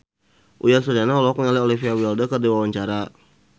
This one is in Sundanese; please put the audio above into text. Uyan Suryana olohok ningali Olivia Wilde keur diwawancara